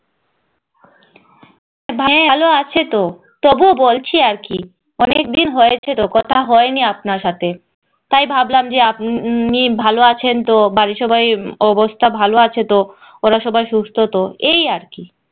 অনেক দিন হৈছে তো কথা হয়নি আপনার সাথে তাই ভাবলাম যে আপনি ভালো আছেন তো বাড়ির সবাই অবস্থা ভালো আছে তো ওরা সবাই সুস্থ তো এই আর কি